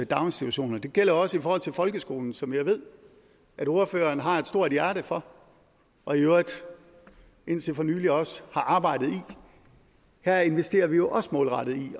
daginstitutioner det gælder også i forhold til folkeskolen som jeg ved at ordføreren har et stort hjerte for og i øvrigt indtil for nylig også har arbejdet i her investerer vi jo også målrettet i